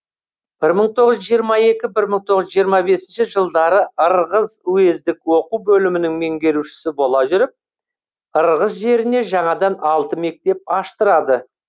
бір мың тоғыз жүз жиырма екінші бір мың тоғыз жүз жиырма бесінші жылдары ырғыз уездік оқу бөлімінің меңгерушісі бола жүріп ырғыз жеріне жаңадан алты мектеп аштырады